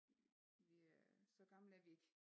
Vi øh så gamle er vi ikke